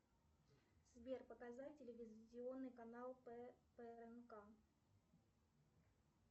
сбер показать телевизионный канал пмк